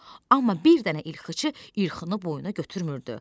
Amma bir dənə ilxıçı ilxını boynuna götürmürdü.